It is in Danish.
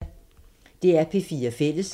DR P4 Fælles